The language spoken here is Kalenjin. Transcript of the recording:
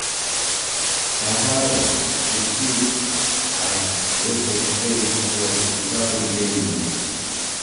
Kabartutik ab weseskei ko ibarukei mutyo